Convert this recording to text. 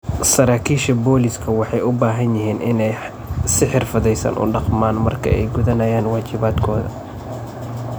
Saraakiisha booliisku waxay u baahan yihiin inay si xirfadaysan u dhaqmaan marka ay gudanayaan waajibaadkooda.